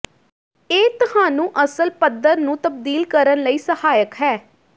ਇਹ ਤੁਹਾਨੂੰ ਅਸਲ ਪੱਥਰ ਨੂੰ ਤਬਦੀਲ ਕਰਨ ਲਈ ਸਹਾਇਕ ਹੈ